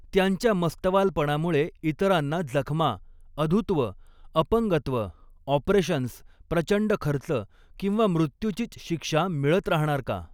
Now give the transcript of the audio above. त्यांच्या मस्तवालपणामुळे इतरांना जखमा, अधुत्व, अपंगत्व, ऑपरेशन्स, प्रचंड खर्च किंवा मृत्यूचीच शिक्षा मिळत राहणार का?